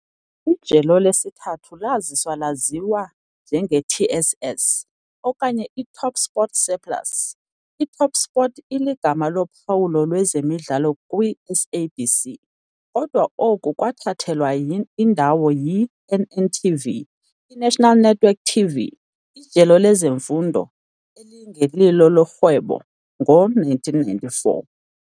Ijelo lesithathu laziswa laziwa njenge-TSS, okanye iTopSport Surplus, iTopSport iligama lophawu lwezemidlalo kwi-SABC, kodwa oku kwathathelwa indawo yi-NNTV, iNational Network TV, ijelo lezemfundo, elingelilo elorhwebo, ngo-1994.